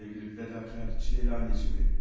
Sevgili fədakar, çiləli anacanım mənim.